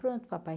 Pronto, papai.